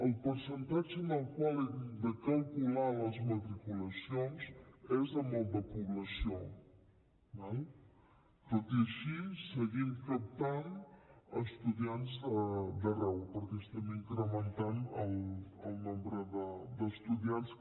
el percentatge amb el qual hem de calcular les matriculacions és el de població d’acord tot i així seguim captant estudiants d’arreu perquè estem incrementant el nombre d’estudiants que